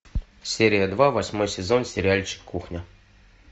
серия два восьмой сезон сериальчик кухня